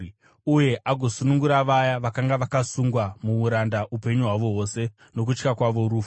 uye agosunungura vaya vakanga vakasungwa muuranda upenyu hwavo hwose nokutya kwavo rufu.